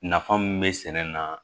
Nafa mun be sɛnɛ na